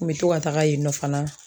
N bɛ to ka taaga yen nɔ fana.